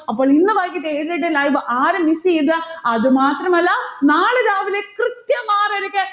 അപ്പോൾ ഇന്ന് വൈകിട്ടെ ഏഴരയുടെ live ആരും miss ചെയ്യരുത്. അതുമാത്രമല്ല നാളെ രാവിലെ കൃത്യം ആറരയ്ക്ക്